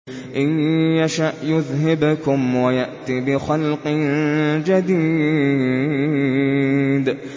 إِن يَشَأْ يُذْهِبْكُمْ وَيَأْتِ بِخَلْقٍ جَدِيدٍ